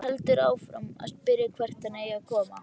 Heldur áfram að spyrja hvert hann eigi að koma.